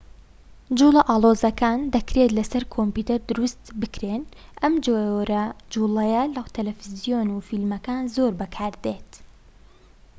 جووڵە ئاڵۆزەکان دەکرێت لە سەر کۆمپیۆتەر دروست بکرێن و ئەم جۆرە جووڵەیە لە تەلەفزیۆن و فیلمەکان زۆر بەکاردێت